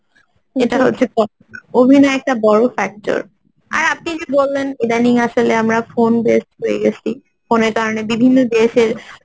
এটা হচ্ছে অভিনয় একটা বড় factor আর আপনি যদি বললেন ইদানিং আসলে আমরা phone based হয়ে গেছি phone এর কারণে বিভিন্ন দেশের